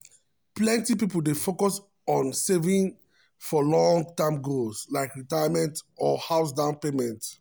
plenty people dey focus on saving for long-term goals like retirement or house down payment.